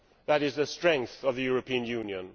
That is the strength of the European Union